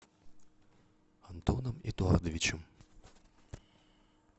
антоном эдуардовичем